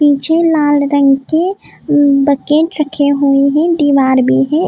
पीछे लाल रंग के बकेट रखे हुए हैं दीवार भी है।